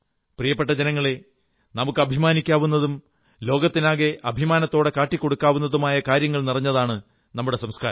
പ്രിയപ്പെട്ട ജനങ്ങളേ നമുക്കഭിമാനിക്കാവുന്നതും ലോകത്തിനാകെ അഭിമാനത്തോടെ കാട്ടിക്കൊടുക്കാവുന്നതുമായ കാര്യങ്ങൾ നിറഞ്ഞതാണ് നമ്മുടെ സംസ്കാരം